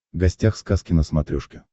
гостях сказки на смотрешке